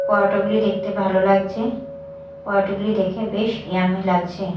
পরোটাগুলি দেখতে ভালো লাগছে পরোটাগুলি দেখে বেশ ইয়াম্মি লাগছে।